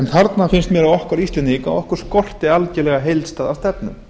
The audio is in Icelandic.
þarna finnst mér að okkur íslendinga skorti algjörlega heildstæða stefnu